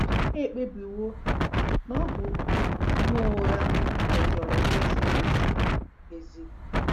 Ha ekpebiwo na ọ bụ ihe ụgha, mejọrọ ikpe ziri ezi. ezi.